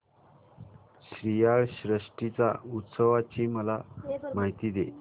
श्रीयाळ षष्टी च्या उत्सवाची मला माहिती दे